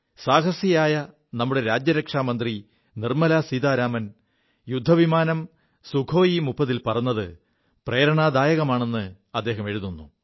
സാഹസികയായ നമ്മുടെ രാജ്യരക്ഷാ മന്ത്രി നിർമ്മലാ സീതാരാമൻ യുദ്ധ വിമാനം സുഖോയ് 30 ൽ പറത് പ്രേരണാദായകമാണെ് അദ്ദേഹം എഴുതുു